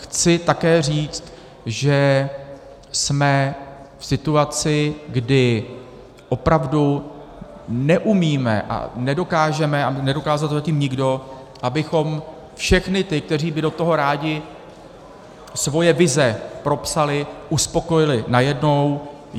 Chci také říct, že jsme v situaci, kdy opravdu neumíme a nedokážeme, a nedokázal to zatím nikdo, abychom všechny ty, kteří by do toho rádi svoje vize propsali, uspokojili najednou.